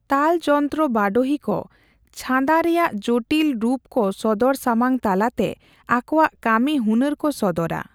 ᱛᱟᱞ ᱡᱚᱱᱛᱨᱚ ᱵᱟᱰᱳᱦᱤ ᱠᱚ ᱪᱷᱟᱸᱫᱟ ᱨᱮᱭᱟᱜ ᱡᱚᱴᱤᱞ ᱨᱩᱯᱠᱚ ᱥᱚᱫᱚᱨ ᱥᱟᱢᱟᱝᱼᱛᱟᱞᱟᱛᱮ ᱟᱠᱚᱣᱟᱜ ᱠᱟᱢᱤᱦᱩᱱᱟᱹᱨ ᱠᱚ ᱥᱚᱫᱚᱨᱟ ᱾